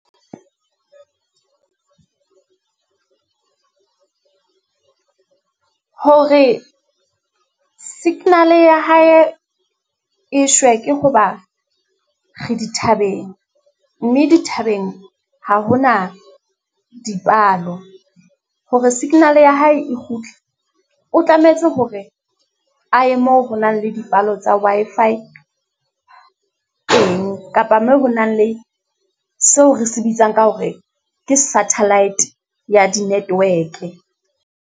Hore signal-e ya hae e shwe, ke ho ba re dithabeng. Mme dithabeng ha ho na dipalo. Hore signal-e ya hae e kgutle, o tlametse hore a ye moo ho nang le dipalo tsa Wi-Fi , kapa moo ho nang le seo re se bitsang ka hore ke satellite ya di-network-e.